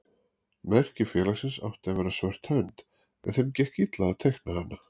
Merki félagsins átti að vera svört hönd en þeim gekk illa að teikna hana.